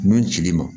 Nun cili ma